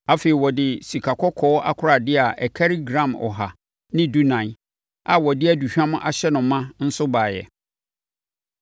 Afei, ɔde sikakɔkɔɔ akoradeɛ a ɛkari gram ɔha ne dunan (114) a wɔde aduhwam ahyɛ no ma nso baeɛ.